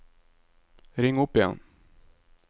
ring opp igjen